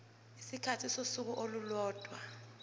isikhathi sosuku olulodwa